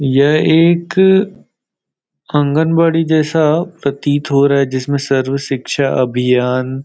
यह एक आंगनवाड़ी जैसा प्रतीत हो रहा है जिसमें सर्व शिक्षा अभियान --